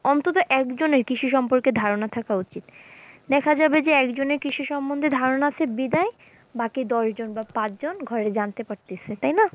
অন্তত একজনের কৃষি সম্পর্কে ধারণা থাকা উচিত দেখা যাবে যে একজনের কৃষি সম্মন্ধে ধারণা আছে বেজায়, বাকি দশজন বা পাঁচজন ঘরে জানতে পারতেছে, তাই না?